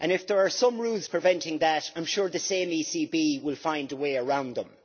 If there are some rules preventing that, I am sure the same ECB will find a way around them.